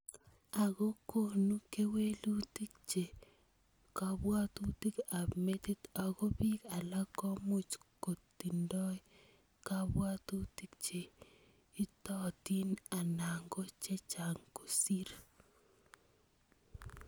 Ako konu kewelutik che kabwatutik ab metit ako pik alak komuch kotindio kab watutik che itotin ana ko chechang kosir .